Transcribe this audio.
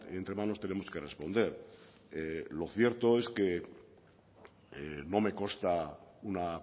entre manos tenemos que responder lo cierto es que no me consta una